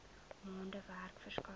maande werk verskaf